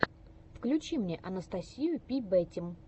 включи мне анастасию пи бэтим